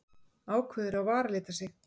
Ákveður að varalita sig.